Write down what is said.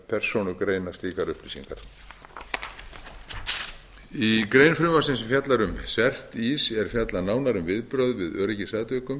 persónugreina slíkar upplýsingar í grein frumvarpsins sem fjallar um cert ís er fjallað nánar um viðbrögð við